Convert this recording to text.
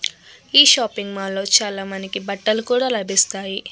ఈ shopping mall లో మనకి చాలా బట్టలు కూడా లభిస్తాయి.